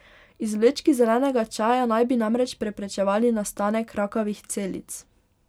Izvlečki zelenega čaja naj bi namreč preprečevali nastanek rakavih celic.